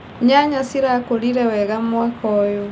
Nyanya cirakũrire wega mwaka ũyũ.